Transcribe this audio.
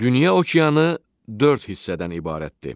Dünya okeanı dörd hissədən ibarətdir.